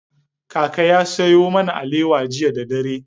Kaka ya sayo mana alewa jiya da dare.